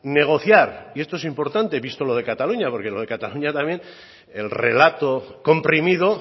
negociar y esto es importante visto lo de cataluña porque lo de cataluña también el relato comprimido